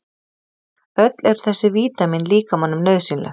öll eru þessi vítamín líkamanum nauðsynleg